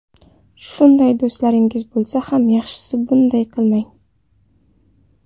Shunday do‘stlaringiz bo‘lsa ham, yaxshisi, bunday qilmang.